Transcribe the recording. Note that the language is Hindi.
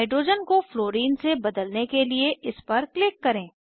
हाइड्रोजन को फ्लोरिन से बदलने के लिए इस पर क्लिक करें